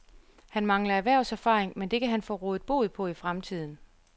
Han mangler erhvervserfaring, men det kan han få rådet bod på i fremtiden.